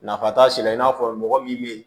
Nafa t'a si la i n'a fɔ mɔgɔ min bɛ yen